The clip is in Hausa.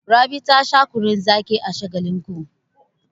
Rabi ta sha kunnun zaƙi a Shagalinku.